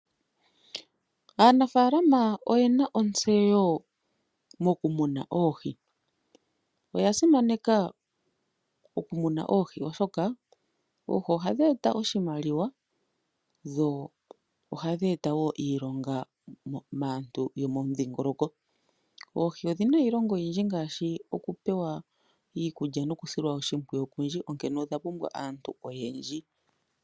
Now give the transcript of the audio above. Aanafaalama oye na ontseyo mokumuna oohi. Oya simaneka okumuna oohi oshoka ohadhi eta oshimaliwa odho ohadhi eta wo iilonga kaantu yomomudhiingoloko. Oohi odhi na iilonga oyindji ngaashi; okulya nokusilwa oshimpwiyu okundji, onkene odha pumbwa aantu oyendji.